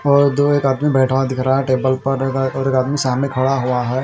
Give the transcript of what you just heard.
और दो एक आदमी बैठा हुआ दिख रहा है टेबल पर एक और एक आदमी सामने खड़ा हुआ है।